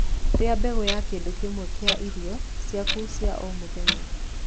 rĩa mbegu ya kindu kimwe kia irio ciaku cia o mũthenya